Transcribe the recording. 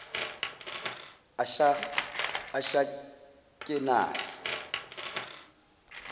ashakenaze